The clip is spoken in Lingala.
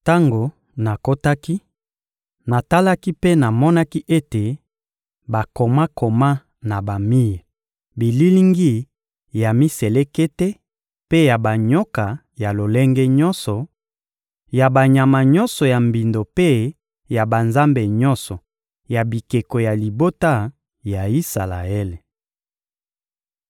Tango nakotaki, natalaki mpe namonaki ete bakomakoma na bamir bililingi ya miselekete mpe ya banyoka ya lolenge nyonso, ya banyama nyonso ya mbindo mpe ya banzambe nyonso ya bikeko ya libota ya Isalaele.